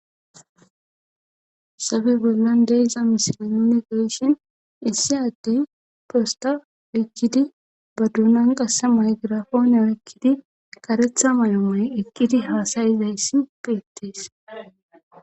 Sabe bollan deeza mishile nune geeshin issi addey posta oykkidi ba duunan qasse may girafoone ekkidi karetha may'o moye eqqidi haasayizayssi peettees